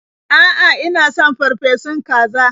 A'a, ina son farfesun kaza.